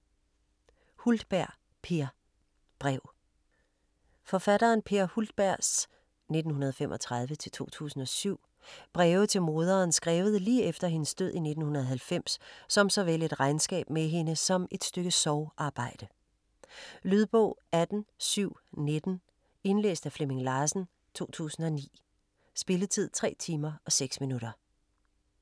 Hultberg, Peer: Brev Forfatteren Peer Hultbergs (1935-2007) breve til moderen skrevet lige efter hendes død i 1990 som såvel et regnskab med hende som et stykke sorgarbejde. Lydbog 18719 Indlæst af Flemming Larsen, 2009. Spilletid: 3 timer, 6 minutter.